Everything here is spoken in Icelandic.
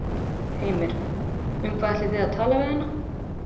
Heimir: Um hvað ætlið þið að tala við hana?